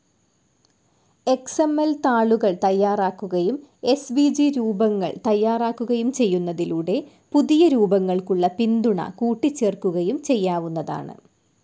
X M L താളുകൾ തയ്യാറാക്കുകയും S V G രൂപങ്ങൾ തയ്യാറാക്കുകയും ചെയ്യുന്നതിലൂടെ പുതിയ രൂപങ്ങൾക്കുള്ള പിന്തുണ കൂട്ടിച്ചേർക്കുകയും ചെയ്യാവുന്നതാണ്.